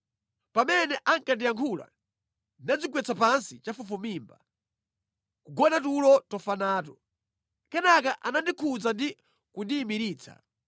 Pamene ankandiyankhula ndinadzigwetsa pansi chafufumimba, nʼkugona tulo tofa nato. Kenaka anandikhudza ndi kundiyimiritsa.